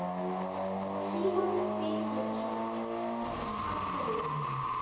Símon Birgisson: Af hverju?